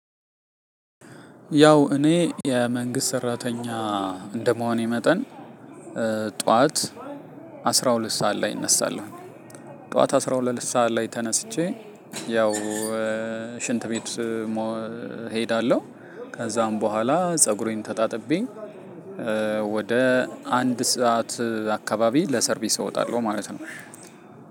ያው እኔ መንግስት ሰራተኛ እንደመሆኔ መጠን ጠዋት አስራ ሁለት ሰዓት ላይ እነሳለው። ጠዋት አስራ ሁለት ሰዓት ላይ ተነስቼ ሽንት ቤት ሄዳለው። ከዛን በኋላ ፀጉሬን ተጣጥቤ ወደ አንድ ሰዓት አካባቢ ለሰርቪስ እወጣለሁ ማለት ነው።